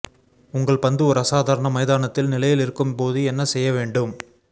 உங்கள் பந்து ஒரு அசாதாரண மைதானத்தில் நிலையில் இருக்கும் போது என்ன செய்ய வேண்டும்